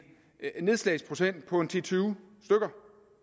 nedslagsprocent på ti til tyve stykker